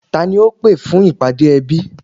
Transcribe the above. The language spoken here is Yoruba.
Tani ó pé fún ìpàdé ẹbí